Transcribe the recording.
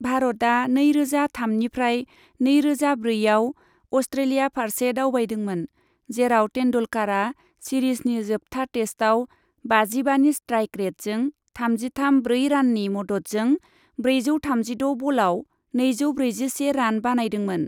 भारतआ नैरोजा थामनिफ्राय नैरोजा ब्रैआव अस्ट्रेलिया फारसे दावबायदोंमोन, जेराव तेन्दुलकारा सिरिजनि जोबथा टेस्टआव बाजिबानि स्ट्राइक रेटजों थामजिथाम ब्रै राननि मददजों ब्रैजौ थामजिद' बलाव नैजौ ब्रैजिसे रान बानायदोंमोन।